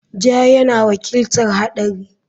Ja yana wakiltar haɗari.